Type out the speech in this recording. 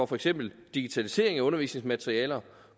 for eksempel digitalisering af undervisningsmaterialer